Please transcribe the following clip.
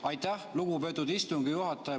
Aitäh, lugupeetud istungi juhataja!